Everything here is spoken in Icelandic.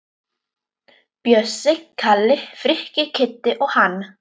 Bjössi, Kalli, Frikki, Kiddi og hann.